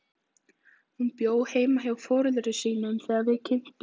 Hún bjó heima hjá foreldrum sínum þegar við kynntumst.